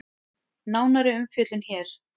Nánari umfjöllun hér